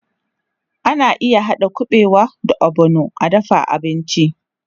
Ana iya haɗa kuɓewa da ogbono a dafa abinci.